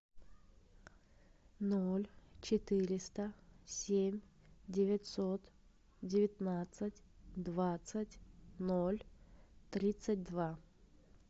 ноль четыреста семь девятьсот девятнадцать двадцать ноль тридцать два